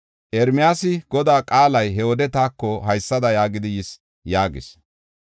Ermiyaasi, “Godaa qaalay he wode taako haysada yaagidi yis” yaagis.